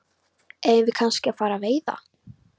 Eigum við kannski að fara að veiða?